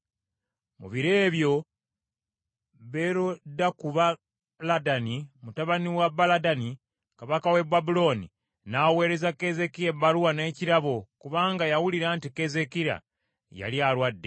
Mu biro ebyo Berodakubaladani mutabani wa Baladani kabaka w’e Babulooni n’aweereza Keezeekiya ebbaluwa n’ekirabo, kubanga yawulira nti Keezeekiya yali alwadde.